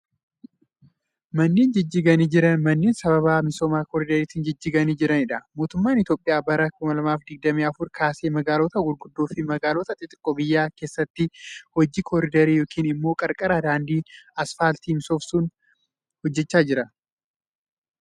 Manneen jijjiganii jiran manneen sbaba misooma kooriidariitin jijjiganii jiranii dha. Mootummaan Itoophiyaa bara 2024 kaasee magaalota guguddoo fi magaalota xixiqqoo biyyatti keessatti hojii kooriidarii yokin immoo qarqara daandii asfaaltii misoomsuu hojjachaa jira.